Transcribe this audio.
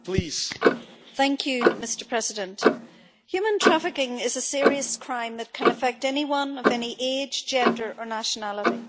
Mr President, human trafficking is a serious crime that can affect anyone of any age, gender or nationality.